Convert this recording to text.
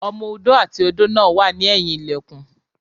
Ọmọ odó àti odó náà wà ní ẹ̀yìn ilẹ̀kùn